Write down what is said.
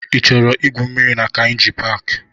Ị chọrọ igwu mmiri na Kainji paaki?